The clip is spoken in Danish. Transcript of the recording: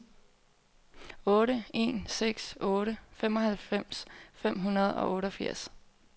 otte en seks otte femoghalvfems fem hundrede og otteogfirs